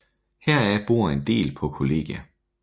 Heraf bor en del på kollegie